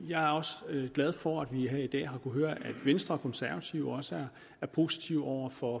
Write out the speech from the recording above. jeg er også glad for at vi her i dag har kunnet høre at venstre og konservative også er positive over for